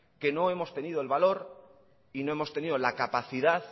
que no hemos tenido el valor y no hemos tenido la capacidad